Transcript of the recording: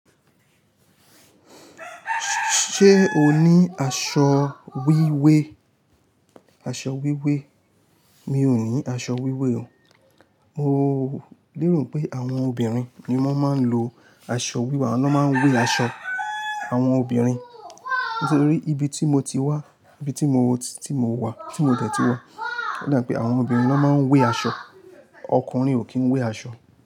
Ṣé o ní aṣọ wíwé? Aṣọ wíwé, mi ò ní aṣọ wíwé o. Mo léro pé àwọn obìnrin ni wọ́n máa ń lo aṣọ, awọ́n lo máa ń wé aṣọ. Àwọn obìnrin, nítorí ibi tí mo ti wá, ibi tí mo, tí mo wà, tí mo dẹ̀ tí wá, o da pé àwọn obìnrin ló máa ń wé aṣọ, ọkùnrin ò kí ń wé aṣọ.